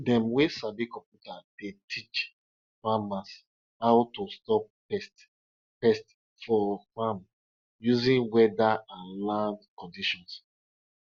pregnant women dey run to touch snails because them dey fear say e go make their pikin no fit talk wella.